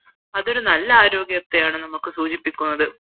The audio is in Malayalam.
അതൊരു നല്ല ആരോഗ്യത്തെയാണ് നമുക്ക് സൂചിപ്പിക്കുന്നത്